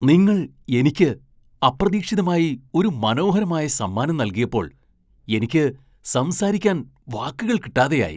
നിങ്ങൾ എനിക്ക് അപ്രതീക്ഷിതമായി ഒരു മനോഹരമായ സമ്മാനം നൽകിയപ്പോൾ എനിക്ക് സംസാരിക്കാൻ വാക്കുകൾ കിട്ടാതെയായി.